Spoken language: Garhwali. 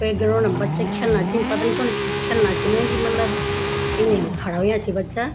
ते ग्राउंड म बच्चा खऐलना छिन पतनी चनु की खऐलना छिन की मतलब इन्नी खड़ा हुयां छि बच्चा।